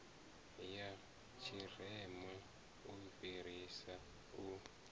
ya tshirema u fhirisa u